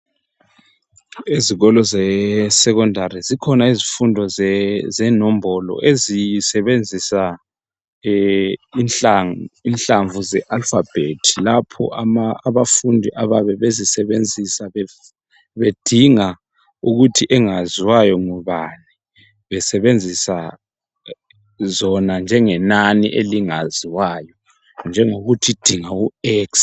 Ezikolo ze Secondary zikhona izifundo ze nombolo ezisebenzisa inhlamvu ze Alphabet lapho abafundi abayabe bezisebenzisa bedinga ukuthi bengaziwayo ngubani besenzisa zona njengenani elingaziwayo njengokuthi dinga u x